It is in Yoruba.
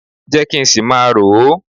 Jẹ́ kí n ṣì máa rò ó